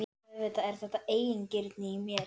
Auðvitað er þetta eigingirni í mér.